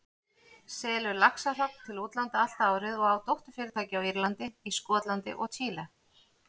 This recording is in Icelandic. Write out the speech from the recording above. selur laxahrogn til útlanda allt árið og á dótturfyrirtæki á Írlandi, í Skotlandi og Chile.